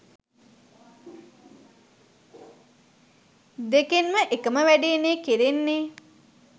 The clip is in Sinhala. දෙකෙන්ම එකම වැඩේනේ කෙරෙන්නේ.